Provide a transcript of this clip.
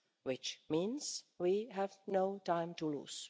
which means that we have no time to lose.